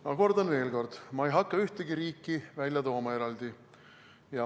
Ma kordan veel: ma ei hakka ühtegi riiki eraldi välja tooma.